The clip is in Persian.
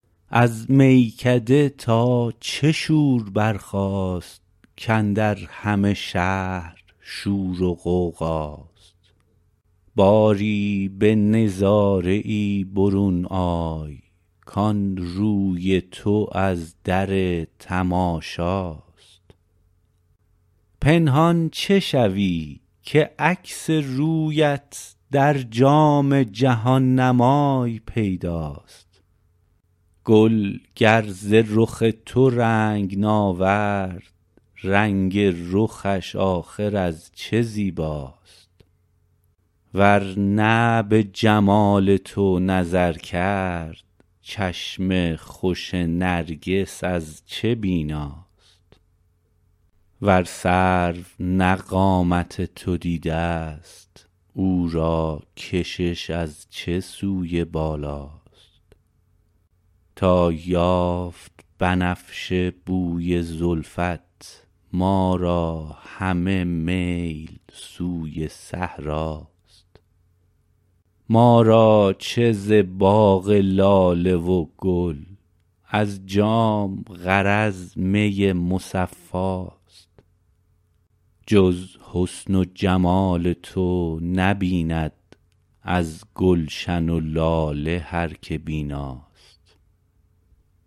از میکده تا چه شور برخاست کاندر همه شهر شور و غوغاست باری به نظاره ای برون آی کان روی تو از در تماشاست پنهان چه شوی که عکس رویت در جام جهان نمای پیداست گل گر ز رخ تو رنگ ناورد رنگ رخش آخر از چه زیباست ور نه به جمال تو نظر کرد چشم خوش نرگس از چه بیناست ور سرو نه قامت تو دیده است او را کشش از چه سوی بالاست تا یافت بنفشه بوی زلفت ما را همه میل سوی صحراست ما را چه ز باغ لاله و گل از جام غرض می مصفاست جز حسن و جمال تو نبیند از گلشن و لاله هر که بیناست